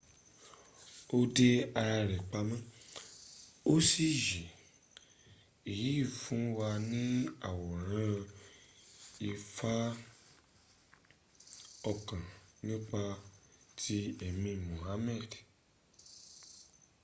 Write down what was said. ó dé ara rẹ̀ pamọ́ ó sì yè èyí fún wa ní àwòrán ìfa ọkàn nípa ti ẹ̀mi mohammad